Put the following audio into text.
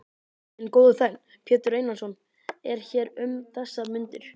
Minn góði þegn, Pétur Einarsson, er hér um þessar mundir.